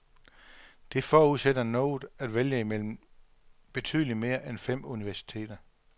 Det forudsætter noget at vælge imellem, betydelig mere end fem universiteter.